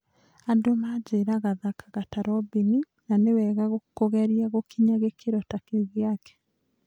Andũ manjĩraga thakaga ta Robini, na nĩ wega kũgeria gũkinya gĩkĩro ta kĩu gĩake.